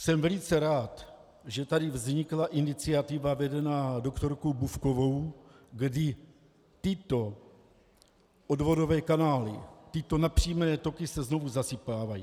Jsem velice rád, že tady vznikla iniciativa vedená doktorkou Bufkovou, kdy tyto odvodové kanály, tyto napřímené toky se znovu zasypávají.